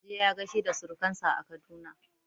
Yaje ya gaishe da surkan sa a Kaduna